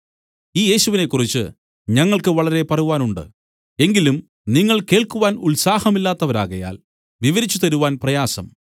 ഈ യേശുവിനെക്കുറിച്ചു ഞങ്ങൾക്കു വളരെ പറവാനുണ്ട് എങ്കിലും നിങ്ങൾ കേൾക്കുവാൻ ഉത്സാഹമില്ലാത്തവരാകയാൽ വിവരിച്ച് തരുവാൻ പ്രയാസം